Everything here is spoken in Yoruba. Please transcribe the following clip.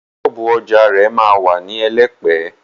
Ṣọ́ọ̀bú ọjà rẹ̀ ma wà ní Elẹ́pẹ̀.